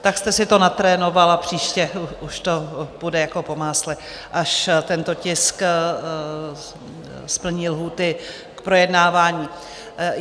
Tak jste si to natrénoval a příště už to půjde jako po másle, až tento tisk splní lhůty k projednávání.